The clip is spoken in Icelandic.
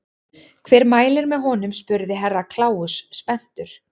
Hver mælir með honum spurði Herra Kláus spenntur.